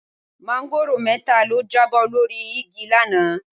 Máńgòrò mẹ́ta ló jábọ́ lórí igi lánàá.